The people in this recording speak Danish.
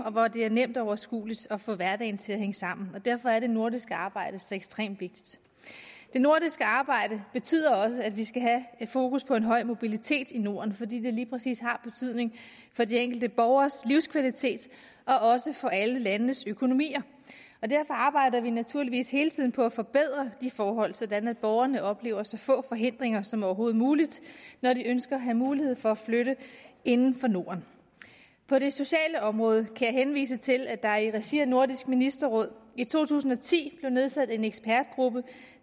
og hvor det er nemt og overskueligt at få hverdagen til at hænge sammen derfor er det nordiske arbejde så ekstremt vigtigt det nordiske arbejde betyder også at vi skal have fokus på en høj mobilitet i norden fordi det lige præcis har betydning for de enkelte borgeres livskvalitet og også for alle landenes økonomier derfor arbejder vi naturligvis hele tiden på at forbedre disse forhold sådan at borgerne oplever så få forhindringer som overhovedet muligt når de ønsker at have mulighed for at flytte inden for norden på det sociale område kan jeg henvise til at der i regi af nordisk ministerråd i to tusind og ti blev nedsat en ekspertgruppe